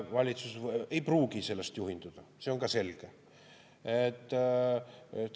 Valitsus ei pruugi sellest juhinduda, see on ka selge.